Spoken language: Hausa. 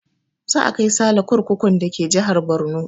Za a kai sale kurkukun da ke jihar Borno